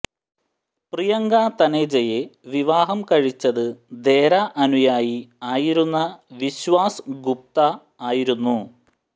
പ്രിയങ്ക തനേജയെ വിവാഹ കഴിച്ചത് ദേര അനുയായി ആയിരുന്ന വിശ്വാസ് ഗുപ്ത ആയിരുന്നു